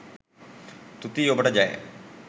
තුති ඔබට ජය.